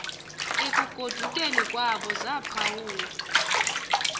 ekugodukeni kwabo zaphawula